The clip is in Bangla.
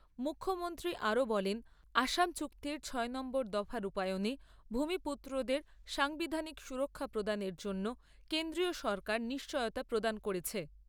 মুখ্যমন্ত্রী আরো বলেন আসাম চুক্তির ছয় নম্বর দফা রূপায়নে ভুমিপুত্রদের সাংবিধানিক সুরক্ষা প্রদানের জন্য কেন্দ্রীয় সরকার নিশ্চয়তা প্রদান করেছে।